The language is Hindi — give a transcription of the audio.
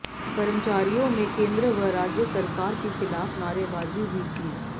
कर्मचारियों में केंद्र व राज्य सरकार के खिलाफ नारेबाजी भी की